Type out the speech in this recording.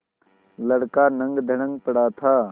लड़का नंगधड़ंग पड़ा था